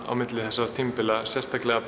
á milli þessara tímabila sérstaklega